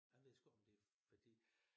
Jeg ved sgu ikke om det fordi